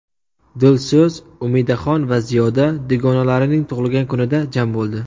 Dilso‘z, Umidaxon va Ziyoda dugonalarining tug‘ilgan kunida jam bo‘ldi.